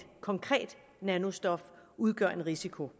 konkret nanostof udgør en risiko